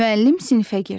Müəllim sinfə girdi.